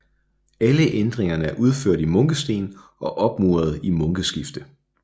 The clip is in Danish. Alle ændringerne er udført i munkesten og opmuret i munkeskifte